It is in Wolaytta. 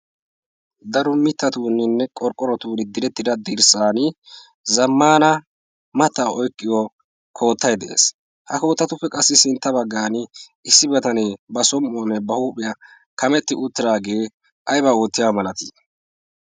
daro mittatuuninne qorqqorotuuri direttida dirssan zammana mata oiqqiyo koottai de7ees. ha kootatuppe qassi sintta baggan issi batanee ba som77uwaanne ba huuphiyaa kametti uttiraagee aibaa oottiya malatii?